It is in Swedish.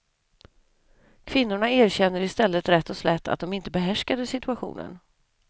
Kvinnorna erkänner i stället rätt och slätt att de inte behärskade situationen.